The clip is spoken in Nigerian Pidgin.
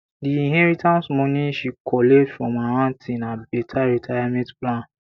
di inheritance money she collect from her aunty na better retirement plan